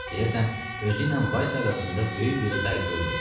Deyəsən özüylə Vaysa arasında böyük bir fərq görmürdü.